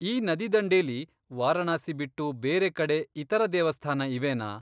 ಈ ನದಿದಂಡೆಲಿ ವಾರಣಾಸಿ ಬಿಟ್ಟು ಬೇರೆಕಡೆ ಇತರ ದೇವಸ್ಥಾನ ಇವೆನಾ?